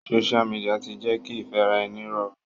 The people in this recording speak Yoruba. Social media ti jẹ́ kí ìfẹ́ràẹni rọrùn.